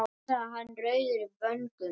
svaraði hann rauður í vöngum.